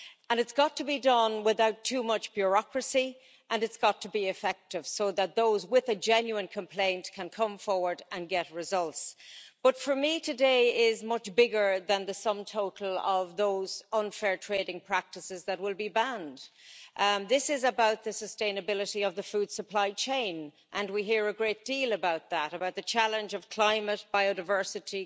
It's got to be done without too much bureaucracy, and it's got to be effective so that those with a genuine complaint can come forward and get results. But for me today is much bigger than the sum total of those unfair trading practices that will be banned. This is about the sustainability of the food supply chain and we hear a great deal about that about the challenge of climate, biodiversity,